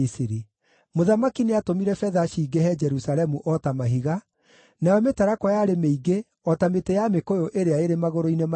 Mũthamaki nĩatũmire betha cingĩhe Jerusalemu o ta mahiga, nayo mĩtarakwa yarĩ mĩingĩ o ta mĩtĩ ya mĩkũyũ ĩrĩa ĩrĩ magũrũ-inĩ ma irĩma.